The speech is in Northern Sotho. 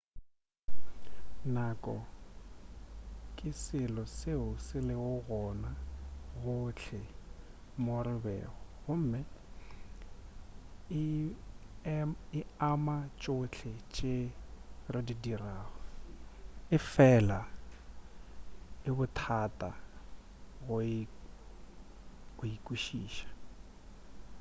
nako ke selo seo se lego gona gohle mo re bego gomme e ama tšhohle tše re di dirago efela e bothata go e kwešiša